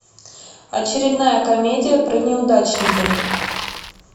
очередная комедия про неудачника